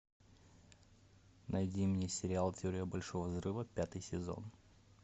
найди мне сериал теория большого взрыва пятый сезон